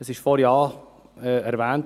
Es wurde vorhin erwähnt: